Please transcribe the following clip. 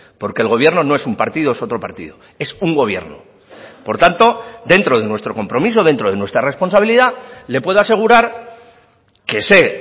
porque el gobierno no es un partido o es otro partido es un gobierno por tanto dentro de nuestro compromiso dentro de nuestra responsabilidad le puedo asegurar que sé